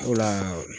O la